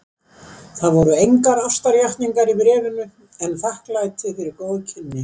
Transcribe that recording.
Það voru engar ástarjátningar í bréfinu en þakklæti fyrir góð kynni.